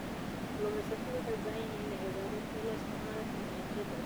Kalluumeysatada waxay u baahan yihiin inay ogaadaan sida loo isticmaalo tignoolajiyada cusub.